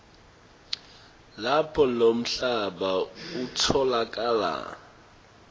lapho lomhlaba utfolakala